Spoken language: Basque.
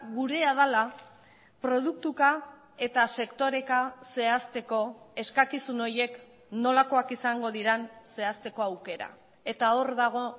gurea dela produktuka eta sektoreka zehazteko eskakizun horiek nolakoak izango diren zehazteko aukera eta hor dago